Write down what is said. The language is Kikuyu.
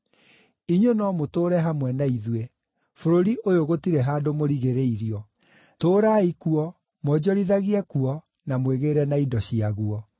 Inyuĩ no mũtũũre hamwe na ithuĩ; bũrũri ũyũ gũtirĩ handũ mũrigĩrĩirio. Tũũrai kuo, mwonjorithagie kuo, na mwĩgĩĩre na indo ciaguo.”